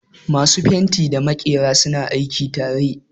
Masu fenti da maƙera suna aiki tare